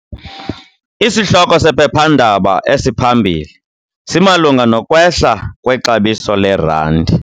Isihloko sephephandaba esiphambili simalunga nokwehla kwexabiso lerandi.